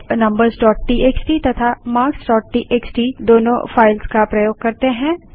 अब numbersटीएक्सटी तथा marksटीएक्सटी दोनों फाइल्स का प्रयोग करते हैं